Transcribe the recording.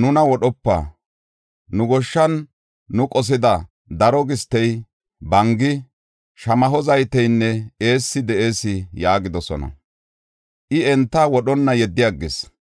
“Nuna wodhopa! Nu goshshan nu qosida daro gistey, bangi, shamaho zayteynne eessi de7ees” yaagidosona. I enta wodhonna yeddi aggis.